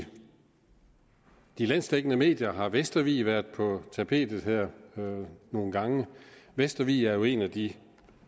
de landsdækkende medier har vestervig været på tapetet her nogle gange vestervig er jo en af de